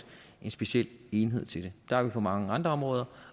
en speciel enhed til det det har vi på mange andre områder